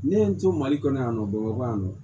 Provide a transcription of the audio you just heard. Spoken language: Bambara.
Ne ye n to mali kɔnɔ yan nɔ bamakɔ yan nɔ